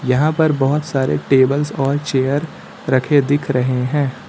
यहां पर बोहोत सारे टेबल्स और चेयर रखे दिख रहे हैं।